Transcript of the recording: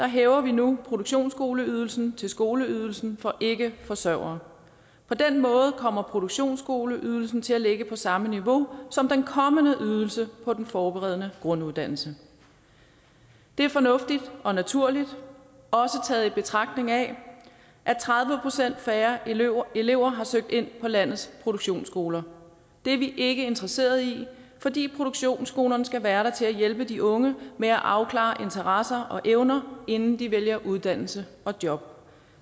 hæver vi nu produktionsskoleydelsen til skoleydelsen for ikkeforsørgere på den måde kommer produktionsskoleydelsen til at ligge på samme niveau som den kommende ydelse på den forberedende grunduddannelse det er fornuftigt og naturligt også i betragtning af at tredive procent færre elever elever har søgt ind på landets produktionsskoler det er vi ikke interesseret i fordi produktionsskolerne skal være der til at hjælpe de unge med at afklare interesser og evner inden de vælger uddannelse og job